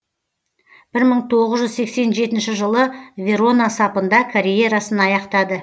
бір мың тоғыз жүз сексен жетінші жылы верона сапында карьерасын аяқтады